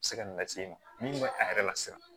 Se ka nin lase e ma min bɛ a yɛrɛ la siran